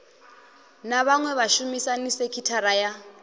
na vhaṅwe vhashumisani sekithara ya